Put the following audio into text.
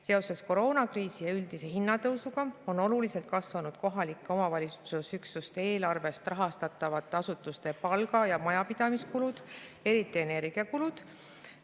Seoses koroonakriisi ja üldise hinnatõusuga on oluliselt kasvanud kohaliku omavalitsuse üksuste eelarvest rahastatavate asutuste palga- ja majapidamiskulud, eriti energiakulud.